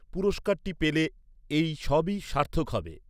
পুরস্কারটি পেলে এই সবই সার্থক হবে।